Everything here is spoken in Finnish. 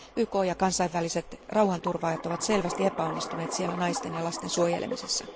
YK ja kansainväliset rauhanturvaajat ovat selvästi epäonnistuneet siellä naisten ja lasten suojelemisessa.